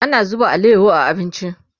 ana zuba alayaho a abinci